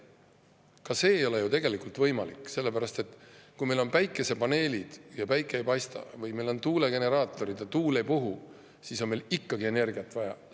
Ka see ei ole ju tegelikult võimalik, sellepärast et kui meil on päikesepaneelid ja päike ei paista või meil on tuulegeneraatorid ja tuul ei puhu, siis on meil ikkagi energiat vaja.